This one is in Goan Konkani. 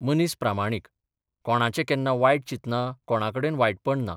मनीस प्रामाणीक कोणाचें केन्ना बायट चितना कोणा कडेन वायटपण ना.